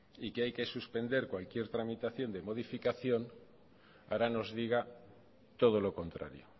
y que hay que suspender cualquier tramitación de modificación ahora nos diga todo lo contrario